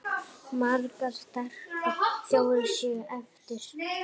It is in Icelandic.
Margar sterkar þjóðir séu eftir.